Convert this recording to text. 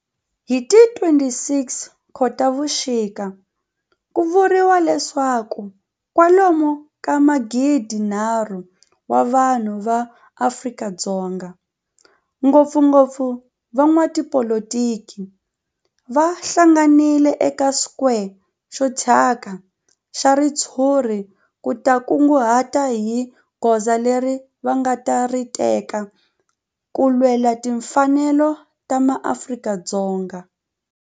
Hi ti 26 Khotavuxika ku vuriwa leswaku kwalomu ka magidi-nharhu wa vanhu va Afrika-Dzonga, ngopfungopfu van'watipolitiki va hlanganile eka square xo thyaka xa ritshuri ku ta kunguhata hi goza leri va nga ta ri teka ku lwela timfanelo ta maAfrika-Dzonga.